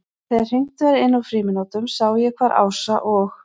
Þegar hringt var inn úr frímínútunum sá ég hvar Ása og